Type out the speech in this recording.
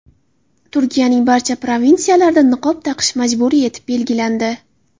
Turkiyaning barcha provinsiyalarida niqob taqish majburiy etib belgilandi.